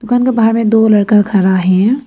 दुकान का बाहर में दो लड़का खड़ा है।